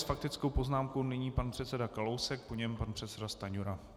S faktickou poznámkou nyní pan předseda Kalousek, po něm pan předseda Stanjura.